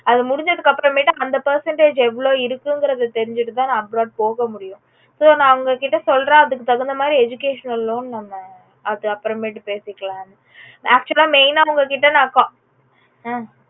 அது முடிஞ்சதுக்கு அப்ரமேட்டு அந்த percentage எவளோ இருக்குங்கறது தெரிஞ்சிது தா நா abroad போக முடியும் so ந உங்க கிட்ட சொல்றேன் அதுக்கு தகுந்த மாதிரி educational loan நம்ப அது அப்ரமேட்டு பேசிக்கலாம் actual அ main ஆ ந உங்ககிட்ட நா call